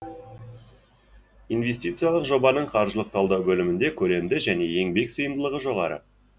инвестициялық жобаның қаржылық талдау бөлімінде көлемді және еңбек сыйымдылығы жоғары